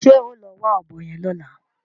Ṣé ẹ́ o lọ wá ọ̀bọ yẹn lọ́la?